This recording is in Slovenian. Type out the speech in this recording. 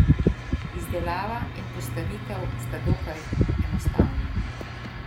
Izdelava in postavitev sta dokaj enostavni.